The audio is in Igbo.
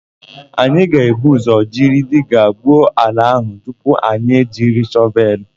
Anyị ga-ebu ụzọ jiri diga gwuo ala áhụ̀ tupu anyị ejiri shọvelụ.